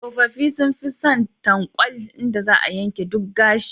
Tsofaffi sun fi son tankwal, inda za a yanke duk gashi.